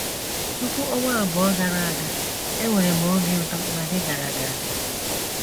“ Tupu ọnwa abụọ gara aga, enwere m obi ụtọ ma dị gara gara.